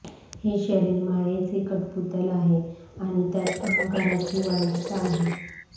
हे शरीर मायाचे कठपुतल आहे आणि त्यात अहंकाराची वाईटता आहे